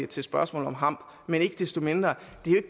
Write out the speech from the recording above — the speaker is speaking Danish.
til spørgsmålet om hamp men ikke desto mindre